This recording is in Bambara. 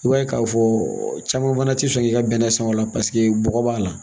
I b'a ye k'a fɔ caman fana ti sɔn i ka bɛnɛ san o la paseke bɔgɔ b'a la